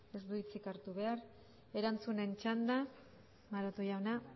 ez du hitzik hartu behar erantzunen txanda maroto jauna